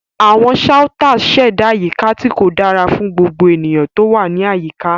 Àwọn shouters ṣẹ̀dá àyíká tí kò dára fún gbogbo ènìyàn tó wà ní àyíká.